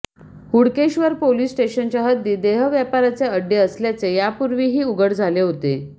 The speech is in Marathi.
हुडकेश्वर पोलिस स्टेशनच्या हद्दीत देहव्यापाराचे अड्डे असल्याचे यापूर्वीही उघड झाले होते